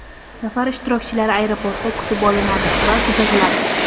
Safar ishtirokchilari aeroportda kutib olinadi va kuzatiladi.